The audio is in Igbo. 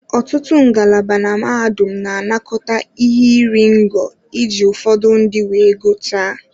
Ọtụtụ ngalaba na mahadum na-anakọta ihe iri ngo iji ụfọdụ ndị wee gụchaa.